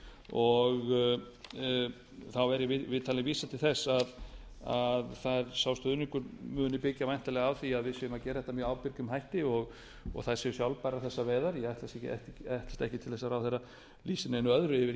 og þá væri í viðtali vísað til þess að sá stuðningur muni byggja væntanlega á því að við séum að gera þetta með ábyrgum hætti og þær séu sjálfbærar þessar veiðar ég ætlast ekki til að hæstvirtur ráðherra lýsi neinu öðru yfir